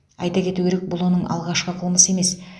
айта кету керек бұл оның алғашқы қылмысы емес